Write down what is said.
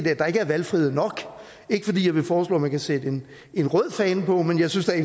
at der ikke er valgfrihed nok ikke fordi jeg vil foreslå at man kan sætte en rød fane på men jeg synes da